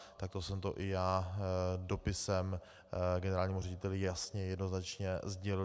Takto jsem to i já dopisem generálnímu řediteli jasně a jednoznačně sdělil.